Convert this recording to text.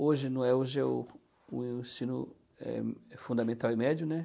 Hoje não é, hoje é o o ensino eh, fundamental e médio, né?